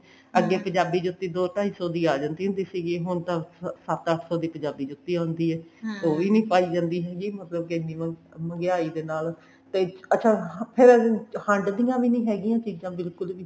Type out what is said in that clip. ਅੱਗੇ ਪੰਜਾਬੀ ਜੁੱਤੀ ਦੋ ਢਾਈ ਸੋ ਦੀ ਆ ਜਾਂਦੀ ਹੁੰਦੀ ਸੀਗੀ ਹੁਣ ਤਾਂ ਸੱਤ ਅੱਠ ਸੋ ਦੀ ਪੰਜਾਬੀ ਜੁੱਤੀ ਆਉਂਦੀ ਹੈ ਉਹ ਵੀ ਨੀ ਪਾਈ ਜਾਂਦੀ ਹੈਗੀ ਮਤਲਬ ਕੇ ਇੰਨੀ ਉਹ ਮਹਿੰਗਿਆਈ ਦੇ ਨਾਲ ਤੇ ਅੱਛਾ ਫ਼ੇਰ ਹੰਡਦੀਆਂ ਵੀ ਨੀ ਹੈਗਿਆ ਚੀਜਾਂ ਬਿਲਕੁਲ ਵੀ